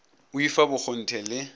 o i fa bokgonthe le